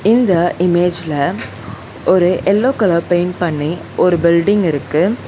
இந்த இமேஜ்ல ஒரு எல்லோ கலர் பெயிண்ட் பண்ணி ஒரு பில்டிங் இருக்கு.